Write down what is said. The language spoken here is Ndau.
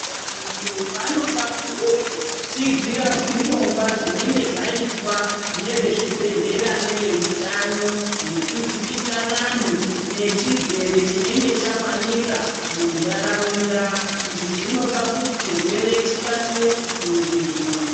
Vantu vanofanirwe kutsigira zvitongwa zvinenge zvaitwa nevezbibhedhlera neveutano zvekuzivisa vanhu nechirwere chinenge chawanika muntaraunda, izvi zvinodetsera kuti chirwere chikasire kukurirwa.